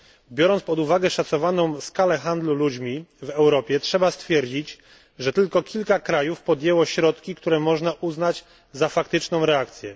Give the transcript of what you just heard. Biorąc pod uwagę szacowaną skalę handlu ludźmi w Europie, trzeba stwierdzić, że tylko kilka krajów podjęło środki, które można uznać za faktyczną reakcję.